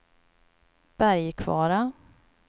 Bergkvara